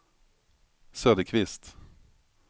Söderqvist